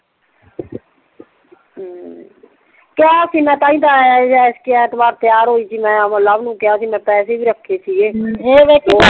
ਕਿਆ ਸੀ ਮੈਂ ਤਾਂ ਹੀ ਤੇ ਐਤਵਾਰ ਤਿਆਰ ਹੋਈ ਸੀ ਮੈਂ ਮੈਂ ਲਵ ਨੂੰ ਕਿਆ ਸੀ ਮੈਂ ਪੈਸੇ ਵੀ ਰੱਖੇ ਸੀ ਗੇ ਏ ਵਾ ਏ ਕੇ